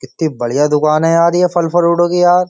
कित्ती बढियां दुकान है यार ये फल फरुटों की यार।